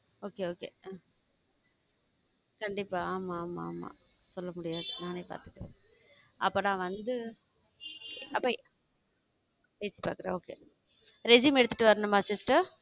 Okay okay கண்டிப்பா ஆமா ஆமா ஆமா சொல்ல முடியாது நானே பார்த்துகிறேன் அப்ப நான் வந்து resume எடுத்துட்டு வரணுமா sister?